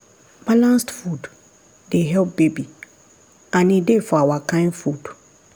balanced food dey help baby and e dey for our kind food.